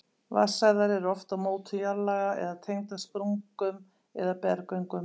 Vatnsæðar eru oft á mótum jarðlaga eða tengdar sprungum eða berggöngum.